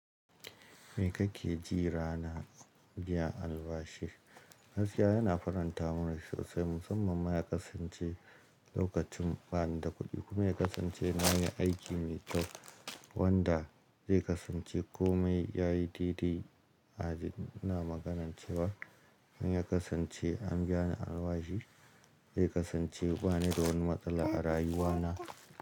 Me kake ji rana biyan albashi? Gaskiya yana faranta mun rai sosai musamman ma ya kasance lokacin bani da kuɗi kuma ya kasance nayi aiki mai kyau wanda zai kasance kome yayi daidai. Ina maganar cewa in ya kasance an biya ni albashi, zai kasance bani da wani matsala a rayuwa na.